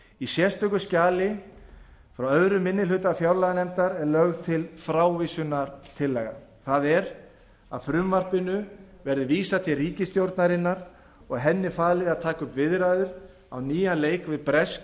í sérstöku skjali frá öðrum minni hluta fjárlaganefndar er lögð til frávísunartillaga það er að frumvarpinu verði vísað til ríkisstjórnarinnar og henni falið að taka upp viðræður á nýjan leik við bresk